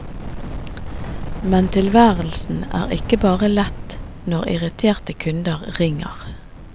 Men tilværelsen er ikke bare lett når irriterte kunder ringer.